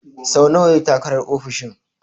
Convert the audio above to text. So nawa ya yi takarar ofishin?